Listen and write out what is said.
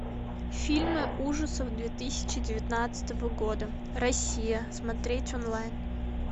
фильмы ужасов две тысячи девятнадцатого года россия смотреть онлайн